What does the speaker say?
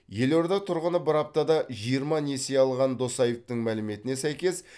елорда тұрғыны бір аптада жиырма несие алған досаевтың мәліметіне сәйкес